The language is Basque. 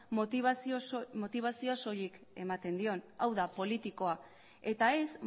motibazioa soilik ematen dion hau da politikoa eta ez